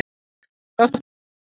Svanlaugur, áttu tyggjó?